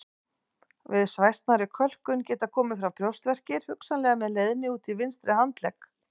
Við svæsnari kölkun geta komið fram brjóstverkir hugsanlega með leiðni út í vinstri handlegg.